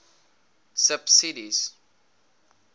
subsidies